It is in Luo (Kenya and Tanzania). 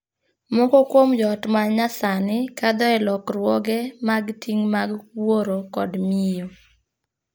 Moko kuom joot ma nya sani kadho e lokruoge mag ting' mag wuoro kod miyo.